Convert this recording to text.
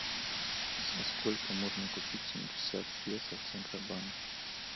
за сколько можно купить семьдесят песо в центробанке